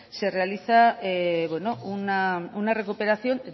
se realiza una recuperación